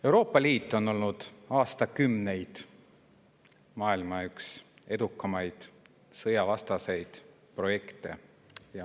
Euroopa Liit on olnud aastakümneid maailma üks edukamaid sõjavastaseid projekte.